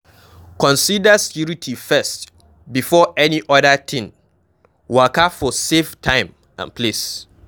Consider security first before any oda thing, waka for safe time and place